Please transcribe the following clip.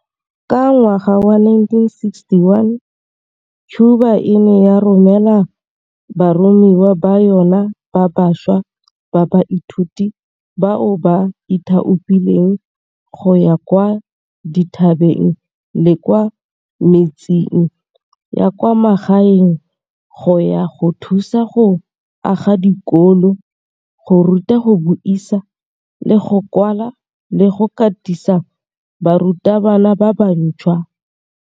Ka ngwaga wa 1961, Cuba e ne ya romela baromiwa ba yona ba bašwa ba baithuti bao ba ithaopileng go ya kwa dithabeng le kwa metseng ya kwa magaeng go ya go thusa go aga dikolo, go ruta go buisa le go kwala le go katisa barutabana ba bantšhwa.